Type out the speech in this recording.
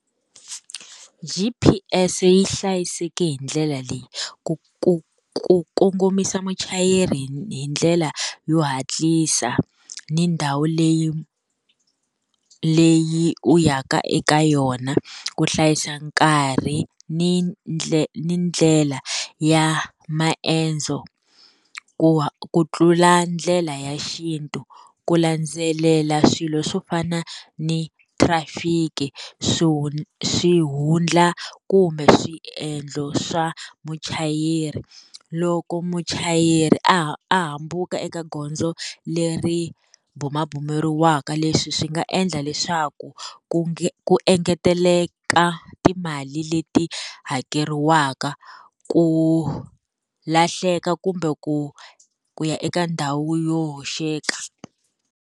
G_P_S yi hlayiseke hi ndlela leyi, ku ku ku kongomisa muchayeri hi hi ndlela yo hatlisa, ni ndhawu leyi leyi u yaka eka yona. Ku hlayisa nkarhi ni ni ndlela ya maendzo, ku ku tlula ndlela ya xintu. ku landzelela swilo swo fana ni thirafiki swihundla kumbe swiendlo swa muchayeri. Loko muchayeri a a hambuka eka gondzo leri bumabumeriwaka leswi swi nga endla leswaku ku ku engeteleka timali leti hakeriwaka ku lahleka kumbe ku ku ya eka ndhawu yo hoxeka.